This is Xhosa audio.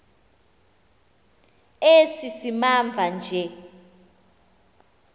esi simamva nje